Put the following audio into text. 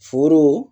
Foro